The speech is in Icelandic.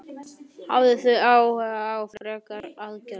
Hafið þið hugað að einhverjum frekari aðgerðum?